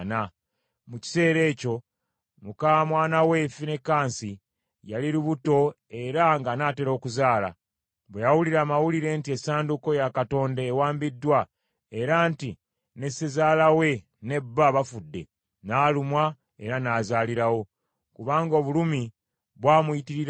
Mu kiseera ekyo muka mwana we, Finekaasi, yali lubuto era ng’anaatera okuzaala. Bwe yawulira amawulire nti Essanduuko ya Katonda ewambiddwa era nti ne ssezaala we ne bba bafudde, n’alumwa era n’azaalirawo, kubanga obulumi bwamuyitirirako.